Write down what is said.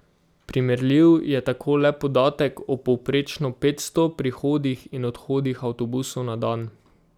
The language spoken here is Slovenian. Primerljiv je tako le podatek o povprečno petsto prihodih in odhodih avtobusov na dan.